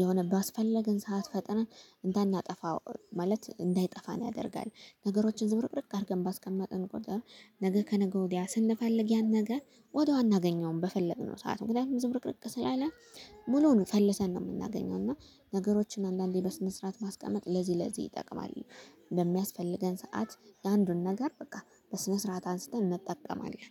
የሆነ ባስፈለገን ሰዓት ፈጥነን እንዳናጠፋው ማለት እንዳይጠፋን ያደርጋል። ነገሮችን ዝብርቅርቅ አድርገን ባስቀመጥን ቁጥር ነገ ከነገ ወዲያ ስንፈልግ ያን ነገር ወዲያው አናገኘውም በፈለግነው ሰዓት ምክንያቱም ዝብርቅርቅ ስላለ ሙሉውን ፈልሰን ነው የምናገኘው። እና ነገሮችን አንዳንዴ በስነ ስርዓት ማስቀመጥ ለዚህ ለዚህ ይጠቅማል። በሚያስፈልገን ሰዓት የአንዱን ነገር በቃ በስነ ስርዓት አንስተን እንጠቀማለን